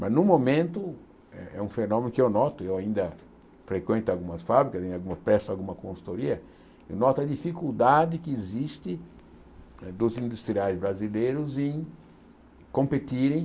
Mas, no momento, é um fenômeno que eu noto, eu ainda frequento algumas fábricas, presto alguma consultoria, eu noto a dificuldade que existe dos industriais brasileiros em competirem